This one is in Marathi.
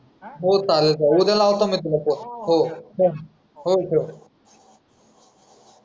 हो चालेल उद्या लावतो मी तुला फोन हो ठेव हो ठेव.